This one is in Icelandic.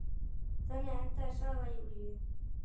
Þannig endaði saga Júlíu.